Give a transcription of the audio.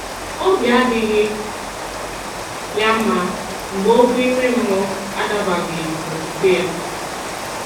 Obi adịghị ya mma mgbe okwu ime mmụọ adabaghi n'okwukwe ya